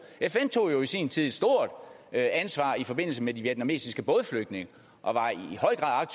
fn tog i sin tid et stort ansvar i forbindelse med de vietnamesiske bådflygtninge og var i høj grad